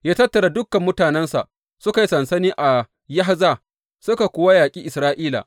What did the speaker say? Ya tattara dukan mutanensa suka yi sansani a Yahza suka kuwa yaƙi Isra’ila.